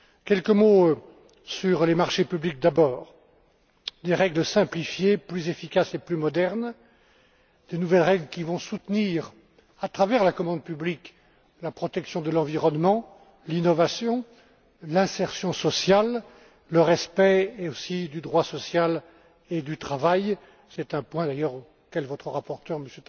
Quelques mots sur les marchés publics d'abord, des règles simplifiées plus efficaces et plus modernes, de nouvelles règles qui vont soutenir, à travers la commande publique, la protection de l'environnement, l'innovation, l'insertion sociale, le respect aussi du droit social et du travail c'est un point auquel votre rapporteur M.